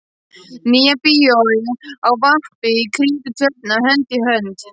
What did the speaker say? Nýja bíói á vappi í kringum Tjörnina hönd í hönd.